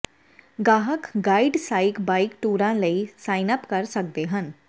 ਗਾਹਕ ਗਾਈਡਡਡ ਸਾਈਕ ਬਾਈਕ ਟੂਰਾਂ ਲਈ ਸਾਈਨ ਅਪ ਕਰ ਸਕਦੇ ਹਨ